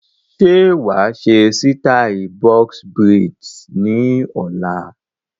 Ṣé wàá ṣe sítai "Box braids" ni ọ̀la?